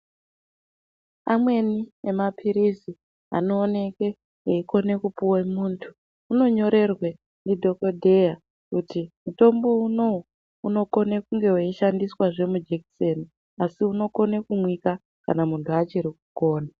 Amweni emaphirisi anowoneke eyikhone kupuwe muntu, unonyorerwe ndidhokodheya kuti mutombo unowu unokhone kunge weyishandiswa zvemujekiseni, asi unokhone kumwika kana muntu achirikukona.